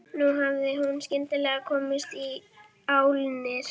Nú hafði hún skyndilega komist í álnir.